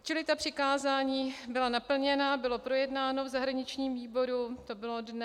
Čili ta přikázání byla naplněna, bylo projednáno v zahraničním výboru, to bylo dne...